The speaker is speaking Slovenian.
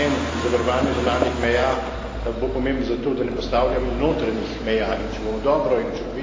pravzaprav namen zavarovanja zunanjih meja bo pomemben zato, da ne postavljamo notranjih meja.